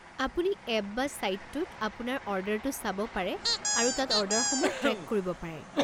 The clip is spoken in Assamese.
আপুনি এপ বা ছাইটটোত আপোনাৰ অৰ্ডাৰটো চাব পাৰে আৰু তাত অৰ্ডাৰসমূহ ট্ৰেক কৰিব পাৰে।